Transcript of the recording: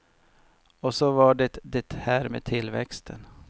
Och så var det det här med tillväxten.